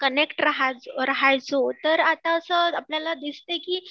connect राहायचो तर आता असं आपल्याला दिसते की